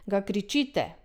Ga krčite?